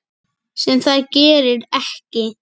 Sem það gerir ekki.